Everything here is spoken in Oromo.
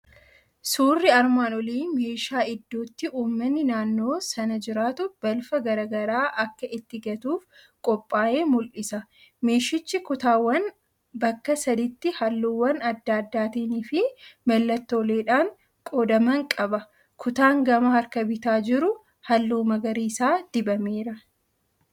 1. Suurri armaan olii meeshaa iddootti uummanni naannoo sana jiratu balfa garagaraa akka itti gatuuf qophaa'e mul'isa. 2. Meeshichi kutaawwan bakka sadiitti halluuwwan adda addaatiin fi mallattooleedhaan qoodaman qaba. 3. Kutaan gama harka bitaan jiru halluu magariisa dibameera.